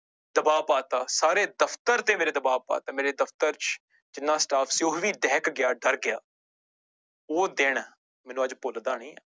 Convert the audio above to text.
ਦਬਾਅ ਪਾ ਦਿੱਤਾ ਸਾਰੇ ਦਫ਼ਤਰ ਤੇ ਮੇਰੇ ਦਬਾਅ ਪਾ ਦਿੱਤਾ ਮੇਰੇ ਦਫ਼ਤਰ ਚ ਜਿੰਨਾ staff ਸੀ ਉਹ ਵੀ ਦਹਿਕ ਗਿਆ, ਡਰ ਗਿਆ ਉਹ ਦਿਨ ਮੈਨੂੰ ਅੱਜ ਭੁੱਲਦਾ ਨੀ